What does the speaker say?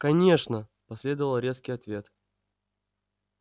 конечно последовал резкий ответ